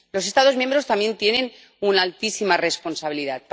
Los Estados miembros también tienen una altísima responsabilidad.